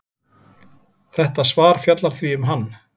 Þetta svar fjallar því um hann.